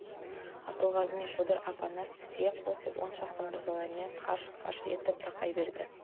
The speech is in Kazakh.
абылғазы мен шодыр апанас тізе қосып он шақты мырзалармен қарш-қарш етіп тақай берді